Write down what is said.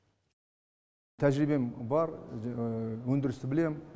тәжірибем бар өндірісті білемін